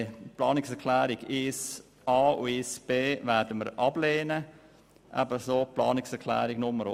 Die Planungserklärungen 1a und 1b werden wir ablehnen, ebenso die Planungserklärung 2.